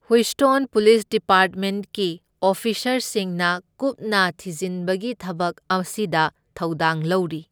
Houston police ꯗꯤꯄꯥꯔꯠꯃꯦꯟꯠꯀꯤ ꯑꯣꯐꯤꯁꯔꯁꯤꯡꯅ ꯀꯨꯞꯅ ꯊꯤꯖꯤꯟꯕꯒꯤ ꯊꯕꯛ ꯑꯁꯤꯗ ꯊꯧꯗꯥꯡ ꯂꯧꯔꯤ꯫